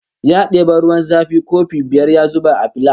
Ya debi ruwan zafi kofi biyar ya zuba a filas